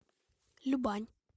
любань